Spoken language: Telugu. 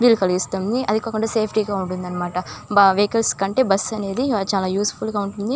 వీలు కలిగిస్తుంది.అది కాకుండా సేఫ్టీ గా ఉంటుంది.వెహికల్స్ కంటే బస్సు అనేది చాలా యూస్ ఫుల్ గా ఉంటుంది.ఫ్రీ గా కూడా ఉంటుంది.